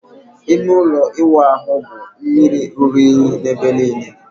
Ime ụlọ ịwụ ahụ bụ mmiri ruru unyi n'ebe niile.